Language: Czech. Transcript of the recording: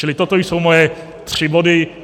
Čili toto jsou moje tři body.